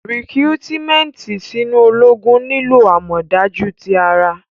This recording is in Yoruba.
Rikurumenti sinu ologun nilo amọdaju ti ara.